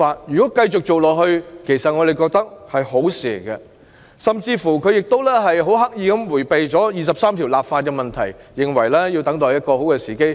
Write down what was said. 如能維持這些做法，我們認為是好事，而她亦刻意迴避就《基本法》第二十三條立法的問題，認為要等待更佳時機。